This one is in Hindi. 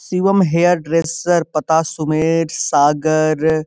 शिवम हेयर ड्रेसर पता सुमेर सागर।